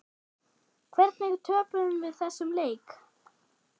Hvernig töpuðum við þessum leik?